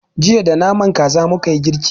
Jiya da naman kaza mukayi girki.